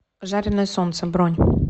жареное солнце бронь